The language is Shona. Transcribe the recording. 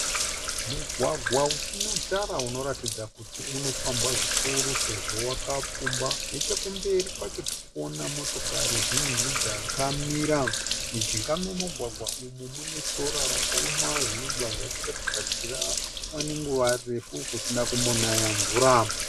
Mugwagwa usina tara unoratidza kuti unofambwa zvikuru sezvo wakapfumba. Nechekumberi kwacho tirikuona motokari zhinji dzakamira. Mujinga memugwagwa umu mune sora rakaoma zvinobva zvatiratidza kuti kwava nenguva refu kusina kumbonaya mvura.